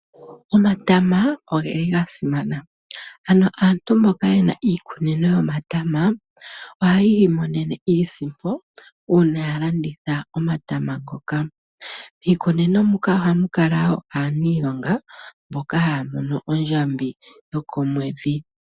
Omatama ogeli gasimana ano aantu mbono yena iikunino yomatama ohayi imonene isimpo uuna alanditha omatama ngoka. Miikunino moka ohamu kala aanilonga mboka haya mono ondjambi yokomweedhi.